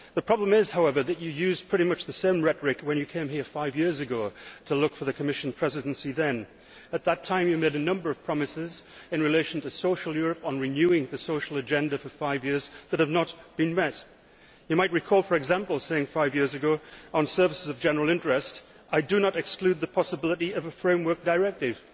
The problem is, however, that you used pretty much the same rhetoric when you came here five years ago to look for the Commission Presidency then. At that time, you made a number of promises in relation to social Europe on renewing the social agenda for five years that have not been met. You might recall, for example, saying five years ago on services of general interest I do not exclude the possibility of a framework directive'.